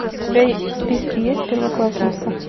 у тебя в списке есть первоклассница